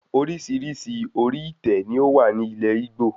Orísirísi orí itẹ ni o wá ní ilé Igbo